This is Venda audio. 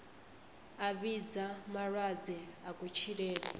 a vhidza malwadze a kutshilele